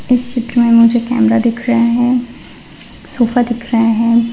इस चित्र में मुझे कैमरा दिख रहे हैं। सोफा दिख रहे हैं।